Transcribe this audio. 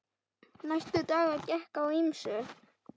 Næstu daga gekk á ýmsu.